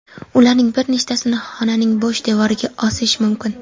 Ularning bir nechtasini xonaning bo‘sh devoriga osish mumkin.